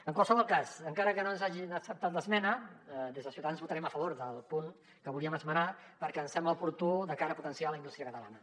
en qualsevol cas encara que no ens hagin acceptat l’esmena des de ciutadans votarem a favor del punt que volíem esmenar perquè ens sembla oportú de cara a potenciar la indústria catalana